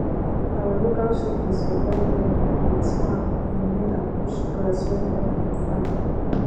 our local sheep dey survive well with farm remain and bush grass wey no um fine